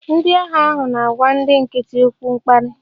Ndị agha ahụ na-agwa ndị nkịtị okwu mkparị